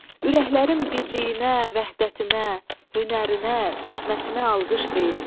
Ürəklərin birliyinə, vəhdətinə, hünərinə, zəhmətinə alqış deyin.